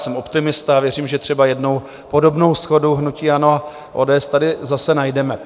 Jsem optimista a věřím, že třeba jednou podobnou shodu hnutí ANO a ODS tady zase najdeme.